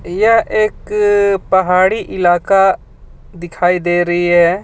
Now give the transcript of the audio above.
यह एक पहाड़ी इलाका दिखाई दे रही है.